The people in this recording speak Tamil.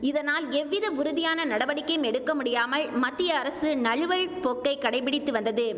இதனால் எவ்வித உறுதியான நடவடிக்கையும் எடுக்க முடியாமல் மத்திய அரசு நழுவல் போக்கை கடைப்பிடித்து வந்தது